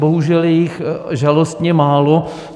Bohužel je jich žalostně málo.